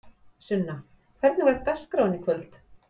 Sunna: Hvernig var dagskráin í kvöld?